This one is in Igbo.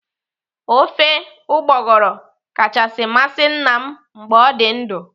Ofe ụgbọgụrụ kachasị masị nna m mgbe ọ dị ndụ.